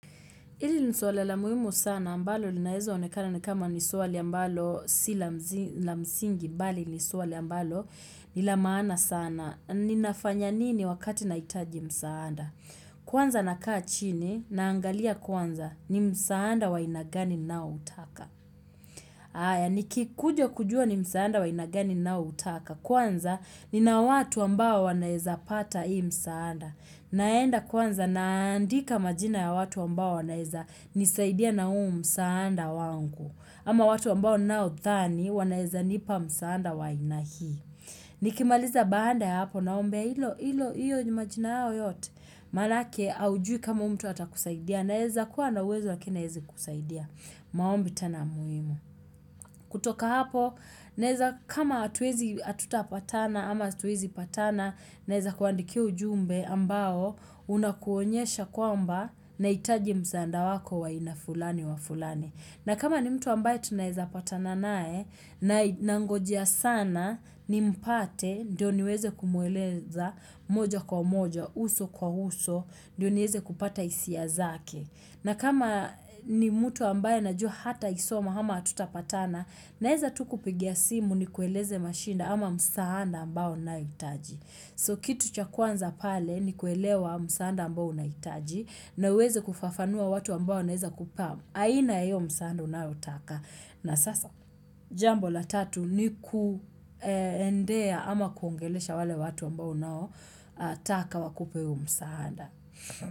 Ili ni suala la muhimu sana ambalo linaeza onekana ni kama nisuala mbalo sila msingi bali nisuala mbalo nila maana sana. Ninafanya nini wakati nahitaji msaanda? Kwanza nakaa chini naangalia kwanza ni msaanda wa aina gani ninao utaka. Aya niki kuja kujua ni msaanda wa aina gani ninao utaka kwanza ni na watu ambao wanaeza pata ii msaanda. Naenda kwanza naandika majina ya watu wambao wanaeza nisaidia na huu msaanda wangu ama watu wambao nao dhani wanaeza nipa msaanda wa aina hii Nikimaliza banda ya hapo na umbea ilo ilo iyo majina yao yote Manake aujui kama huu mtu hata kusaidia Naeza kuwa na uwezo lakini aezi kusaidia maombi tena muhimu kutoka hapo naeza kama atuwezi atuta patana ama atuwezi patana naeza kuandikia ujumbe ambao unakuonyesha kwamba na hitaji msaanda wako wa aina fulani wa fulani. Na kama ni mtu ambaye tunaeza pata na nae na ngojea sana ni mpate ndio niweze kumueleza moja kwa moja, uso kwa uso, ndio niweze kupata hisia zake. Na kama ni mtu ambaye najua hata isoma hama atutapatana naeza tu kupigia simu niku eleze mashida ama msaada ambao nina itaji. So kitu cha kwanza pale ni kuelewa msaanda mbao unaitaji na uweze kufafanua watu mbao unaheza kupamu. Aina yo msaanda unayo taka. Na sasa jambo la tatu ni kuendea ama kuongelesha wale watu ambao unao taka wakupe huo msaanda.